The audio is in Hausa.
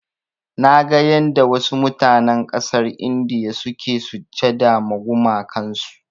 Naga yanda wasu mutanen ƙasar India suke sujjada ma gumakan su.